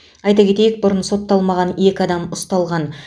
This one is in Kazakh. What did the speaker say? айта кетейік бұрын сотталмаған екі адам ұсталған